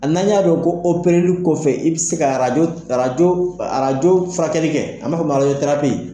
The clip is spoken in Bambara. Ali n'an y'a dɔn ko opereli kɔfɛ, i bɛ se ka arajo arajo rajofurakɛlikɛ an b'a fɔ min ma